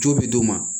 Jo bɛ d'u ma